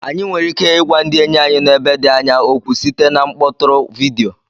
Anyị nwere ike ịgwa ndị enyi anyị nọ ebe dị anya okwu site na mkpọtụrụ vidiyo